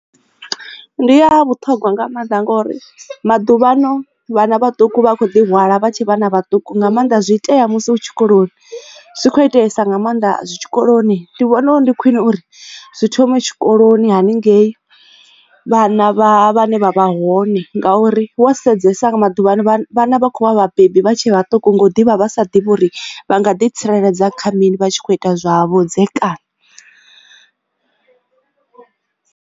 Ndi ya vhuṱhogwa nga maanḓa ngori maḓuvhano vhana vhaṱuku vha kho ḓi hwala vha tshe vhana vhaṱuku nga maanḓa zwi itea musi u tshikoloni zwi kho itesa nga maanḓa zwi tshikoloni ndi vhona uri ndi khwine uri zwi thome tshikoloni haningei vhana vha vhane vha vha hone ngauri wa sedzesa nga maḓuvhano vhana vha kho vhabebi vha tshe vhaṱuku nga u ḓivha vha sa ḓivhi uri vha nga ḓi tsireledza kha mini vha tshi kho ita zwa vhudzekani.